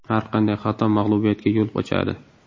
Har qanday xato mag‘lubiyatga yo‘l ochadi.